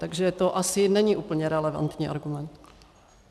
Takže to asi není úplně relevantní argument.